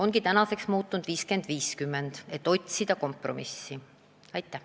Nüüd on eelnõu muutunud, kompromissi otsides pakutakse skeemi 50 : 50.